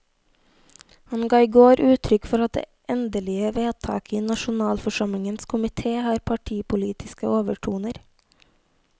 Han ga i går uttrykk for at det endelige vedtaket i nasjonalforsamlingens komité har partipolitiske overtoner.